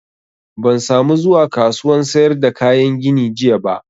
Ban sa mu zuwa kasuwan sayar da kayan gini jiya ba